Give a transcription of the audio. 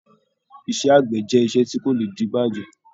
Iṣẹ́ àgbẹ̀ jẹ́ iṣẹ́ tí kò lè dibajẹ.